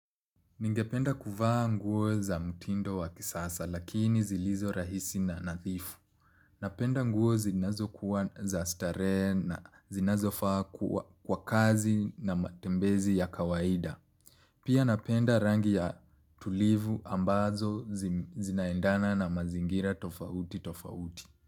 Ningependa kuvaa nguo za mtindo wa kisasa lakinizilizo rahisi na nadhifu. Napenda nguo zinzazo kua za starehe na zinazofaa kwa kazi na matembezi ya kawaida. Pia napenda rangi ya tulivu ambazo zinaendana na mazingira tofauti tofauti.